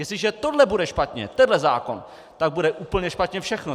Jestliže tohle bude špatně, tenhle zákon, tak bude úplně špatně všechno!